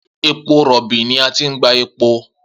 Epo robi ni a ti n gba epo.